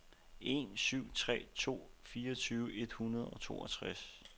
en syv tre to fireogtyve et hundrede og toogtres